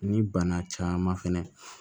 Ni bana caman fɛnɛ